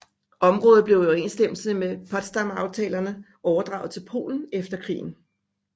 Området blev i overensstemmelse med Potsdamaftalerne overdraget til Polen efter krigen